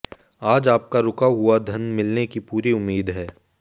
आज आपका रूका हुआ धन मिलने की पूरी उम्मीद है